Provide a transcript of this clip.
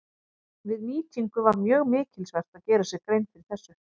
Við nýtingu var mjög mikilsvert að gera sér grein fyrir þessu.